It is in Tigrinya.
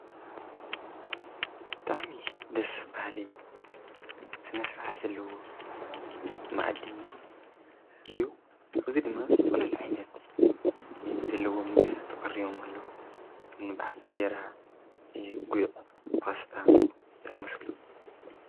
ብጣዕሚ ደስ ብሃሊ ስነስርዓት ዘለዎ ምኣዲ እዩ እዚ ድማ ዝተፈላለዩ ዓይነት ዘለዎም ምግብታት ተቐሪቦም ኣለዉ ከምኒ በዓል እንጀራ ጒዕ ፓስታ ዝኣምሰሉ